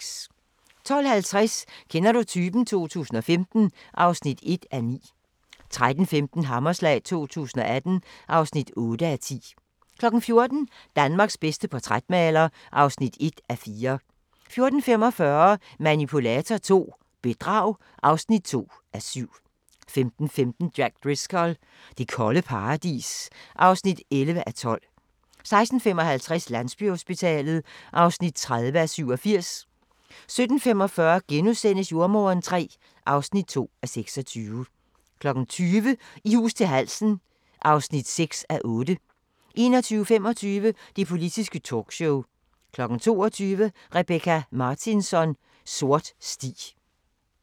12:30: Kender du typen? 2015 (4:9) 13:15: Hammerslag 2018 (8:10) 14:00: Danmarks bedste portrætmaler (1:4) 14:45: Manipulator II - bedrag (2:7) 15:15: Jack Driscoll – det kolde paradis (11:12) 16:55: Landsbyhospitalet (30:87) 17:45: Jordemoderen III (2:26)* 20:00: I hus til halsen (6:8) 21:25: Det politiske talkshow 22:00: Rebecka Martinsson: Sort sti